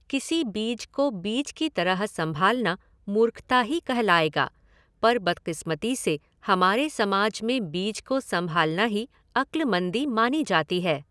किसी बीज को बीज की तरह संभालना मूर्खता ही कहलाएगा, पर बदक़िस्मती से हमारे समाज में बीज को संभालना ही अक्लमंदी मानी जाती है।